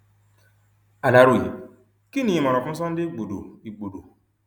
aláròye kí ni ìmọràn fún sunday igbodò igbodò